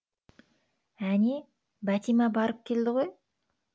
әне бәтима барып келді ғой